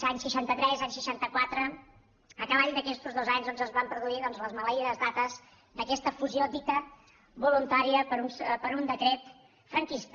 any seixanta tres any seixanta quatre a cavall d’aquestos dos anys doncs es van produir les maleïdes dates d’aquesta fusió dita voluntària per un decret franquista